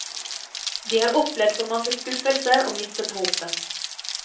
De har opplevd for mange skuffelser og mistet håpet.